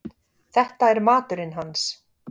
Þetta er maturinn hans.